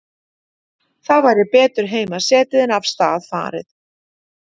Þá væri betur heima setið en af stað farið.